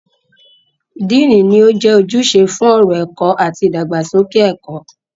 Dean ni ó jẹ́ ojúṣe fún ọ̀rọ̀ ẹ̀kọ́ àti ìdàgbàsókè ẹ̀kọ́.